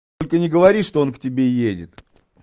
только не говори что он к тебе едет